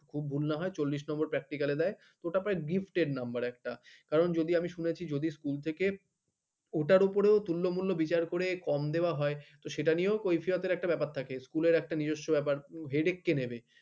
খুব ভুল না হয় চল্লিশ number practical দেয় ওটা gift র number একটা কারণ যদি আমি শুনেছি যদি school থেকে ওটার ওপরে তুলনা মূল্য বিচার করে কম দেওয়া হয় তো সেটা নিও কৈফিয়তের একটা ব্যাপার থাকে school একটা নিজস্ব ব্যাপার হেডেক কে নেবে ।